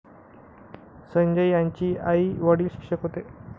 संजय यांचे आई वडील शिक्षक होते